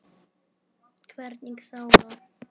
Hvergi sála.